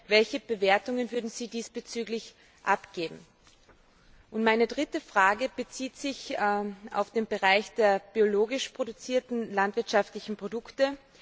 welche Bewertungen würden Sie diesbezüglich abgeben? Meine dritte Frage bezieht sich auf den Bereich der biologisch produzierten landwirtschaftlichen Produkte.